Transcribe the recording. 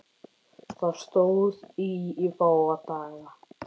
Það stóð í fáa daga.